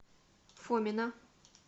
фомина